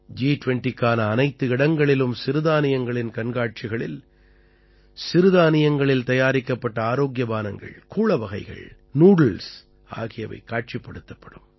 ஜி20க்கான அனைத்து இடங்களிலும் சிறுதானியங்களின் கண்காட்சிகளில் சிறுதானியங்களில் தயாரிக்கப்பட்ட ஆரோக்கிய பானங்கள் கூளவகைகள் நூடுல்ஸ் ஆகியவை காட்சிப்படுத்தப்படும்